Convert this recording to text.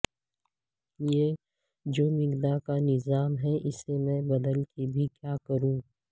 یہ جو میکدہ کا نظام ہے اسے میں بدل کے بھی کیا کروں